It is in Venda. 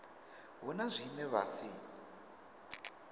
hu na zwine vha si